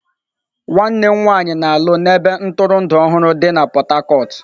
Nwanne m nwanyị na-alụ na ebe ntụrụndụ dị na Port Harcourt.